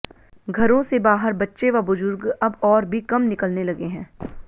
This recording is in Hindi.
घरों से बाहर बच्चे व बुजुर्ग अब और भी कम निकलने लगे हैं